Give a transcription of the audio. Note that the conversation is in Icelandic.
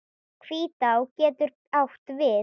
Hvítá getur átt við